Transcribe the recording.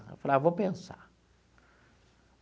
Falei ah, vou pensar.